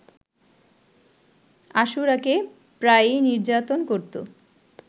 আশুরাকে প্রায়ই নির্যাতন করতো